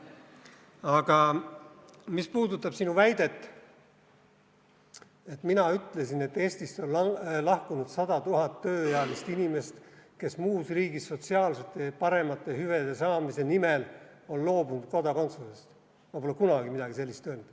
Aga mis puudutab sinu väidet, et mina ütlesin, et Eestist on lahkunud 100 000 tööealist inimest, kes on muus riigis paremate sotsiaalsete hüvede saamise nimel loobunud kodakondsusest, siis ma pole kunagi midagi sellist öelnud.